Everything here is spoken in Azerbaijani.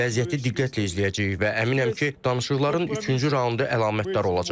Vəziyyəti diqqətlə izləyəcəyik və əminəm ki, danışıqların üçüncü raundu əlamətdar olacaq.